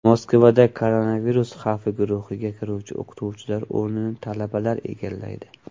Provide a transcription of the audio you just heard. Moskvada koronavirus xavfi guruhiga kiruvchi o‘qituvchilar o‘rnini talabalar egallaydi.